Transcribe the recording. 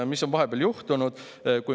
Mis on vahepeal juhtunud?